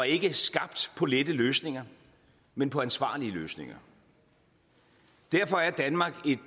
ikke skabt på lette løsninger men på ansvarlige løsninger derfor er danmark et